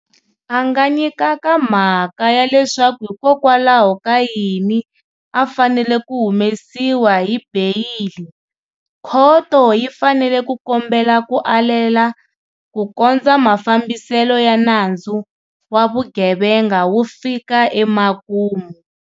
A nga nyikaka mhaka ya leswaku hikokwalaho ka yini a fanele ku humesiwa hi beyili, khoto yi fanele ku kombela ku alela ku kondza mafambiselo ya nandzu wa vugevenga wu fika emakumu.